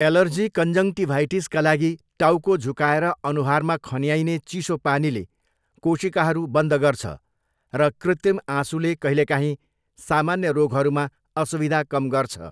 Allergy कन्जन्क्टिभाइटिसका लागि, टाउको झुकाएर अनुहारमा खन्याइने चिसो पानीले केशिकाहरू बन्द गर्छ र कृत्रिम आँसुले कहिलेकाहीँ सामान्य रोगहरूमा असुविधा कम गर्छ।